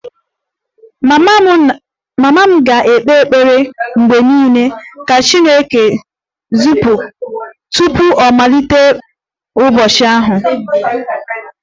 Mama m ga-ekpe ekpere mgbe niile ka 'chineke' tupu ọ malite ụbọchị ya